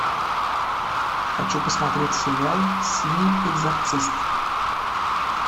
хочу посмотреть сериал синий экзорцист